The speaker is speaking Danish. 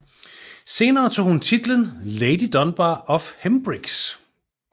Senere tog hun titlen Lady Dunbar of Hempriggs